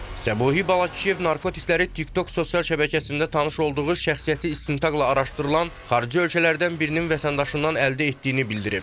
Səbuhi Balakişiyev narkotikləri TikTok sosial şəbəkəsində tanış olduğu şəxsiyyəti istintaqla araşdırılan xarici ölkələrdən birinin vətəndaşından əldə etdiyini bildirib.